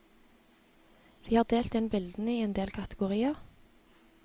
Vi har delt inn bildene i en del kategorier.